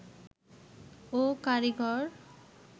ও কারিগর